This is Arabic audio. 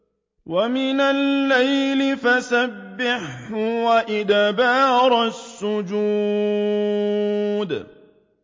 وَمِنَ اللَّيْلِ فَسَبِّحْهُ وَأَدْبَارَ السُّجُودِ